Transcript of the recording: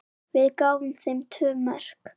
Við gáfum þeim tvö mörk.